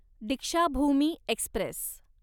Deekshabhoomi Express